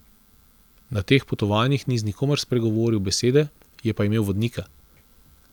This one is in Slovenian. Na teh potovanjih ni z nikomer spregovoril besede, je pa imel vodnika.